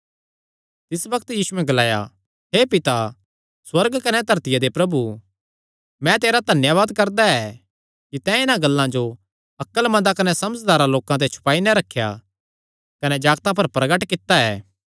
तिस बग्त यीशुयैं ग्लाया हे पिता सुअर्ग कने धरतिया दे प्रभु मैं तेरा धन्यावाद करदा ऐ कि तैं इन्हां गल्लां जो अक्लमंदा कने समझदारां लोकां ते छुपाई नैं रखेया कने जागतां पर प्रगट कित्ता ऐ